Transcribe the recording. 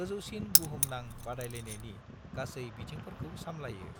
गोजौसिन बुहुमनां बादायलायनायनि गासै बिथिंफोरखौ सामलायो।